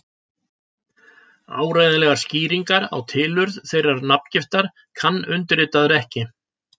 Áreiðanlegar skýringar á tilurð þeirrar nafngiftar kann undirritaður ekki.